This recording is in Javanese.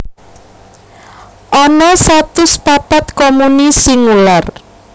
Ana satus papat komuni singular